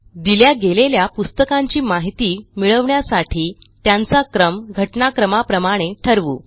दिल्या गेलेल्या पुस्तकांची माहिती मिळवण्यासाठी त्यांचा क्रम घटनाक्रमाप्रमाणे ठरवू